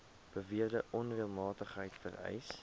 beweerde onreëlmatigheid vereis